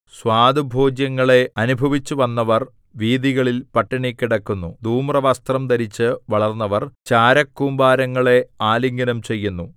സ്വാദുഭോജ്യങ്ങളെ അനുഭവിച്ചുവന്നവർ വീഥികളിൽ പട്ടിണികിടക്കുന്നു ധൂമ്രവസ്ത്രം ധരിച്ച് വളർന്നവർ ചാരകൂമ്പാരങ്ങളെ ആലിംഗനം ചെയ്യുന്നു